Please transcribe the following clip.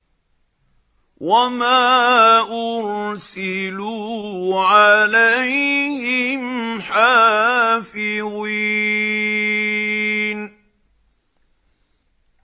وَمَا أُرْسِلُوا عَلَيْهِمْ حَافِظِينَ